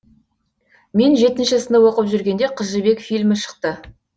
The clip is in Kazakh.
мен жетінші сынып оқып жүргенде қыз жібек фильмі шықты